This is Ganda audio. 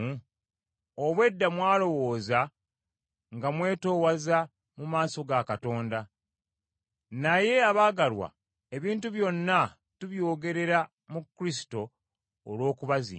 Obw’edda mwalowooza nga mwetoowaza mu maaso ga Katonda. Naye abaagalwa ebintu byonna tubyogerera mu Kristo olw’okubazimba.